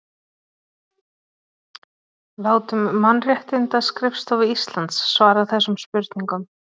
Látum Mannréttindaskrifstofu Íslands svara þessum spurningum